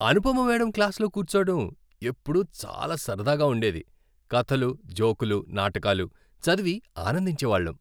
Anupama madam క్లాస్లో కూర్చోడం ఎప్పుడూ చాలా సరదాగా ఉండేది. కథలు, జోకులు, నాటకాలు చదివి ఆనందించేవాళ్లం.